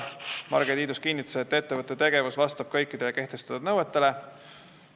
Marge Tiidus kinnitas, et ettevõtte tegevus vastab kõikidele kehtestatud nõuetele.